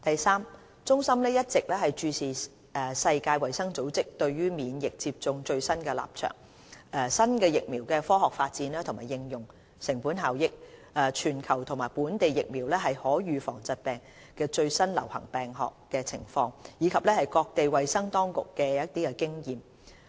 三中心一直注視世界衞生組織對免疫接種的最新立場、新疫苗的科學發展和應用、成本效益、全球和本地疫苗可預防疾病的最流行病學情況，以及各地衞生當局的經驗。